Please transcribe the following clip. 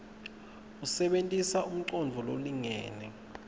usebenitse umcondvo lolingene